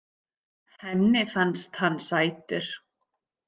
Henni fannst hann sætur.